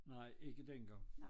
Nej ikke dengang